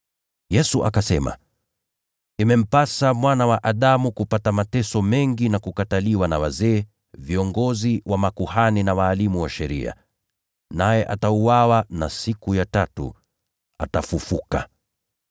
Yesu akasema, “Imempasa Mwana wa Adamu kupata mateso mengi na kukataliwa na wazee, viongozi wa makuhani, na walimu wa sheria, na itampasa auawe, lakini siku ya tatu kufufuliwa kutoka mauti.”